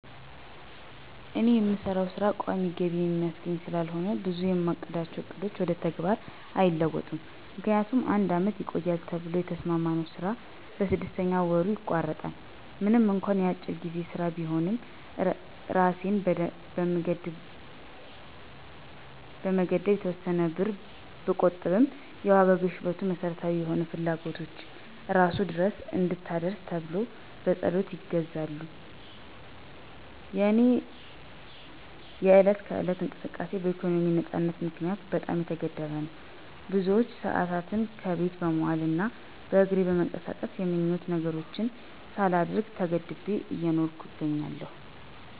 እኔ የምሰራው ሥራ ቋሚ ገቢ የሚያስገኝ ስላልሆነ ብዙ የማቅዳቸው ዕቅዶች ወደ ተግባር አይለወጡም። ምክንያቱም አንድ አመት ይቆያል ተብሎ የተሰማማነው ስራ በስድስተኛ ወሩ ይቋረጣል። ምንም እንኳ የአጭር ጊዜ ሥራ ቢሆንም እራሴን በመገደብ የተወሰነ ብር ብቆጥብም የዋጋ ግሽፈቱ መሠረታዊ የሆኑ ፍላጎቶችን እራሱ ድረስ አትድረስ ተብሎ በፀሎት ይገዛሉ። የእኔ የዕለት ከዕለት እንቅስቃሴ በኢኮኖሚ ነፃነት ምክንያት በጣም የተገደበ ነው። ብዙ ሰአታትን ከቤት በመዋል እና በእግሬ በመንቀሳቀስ የምኞት ነገሮችን ሳላደርግ ተገድቤ እየኖርኩ እገኛለሁ።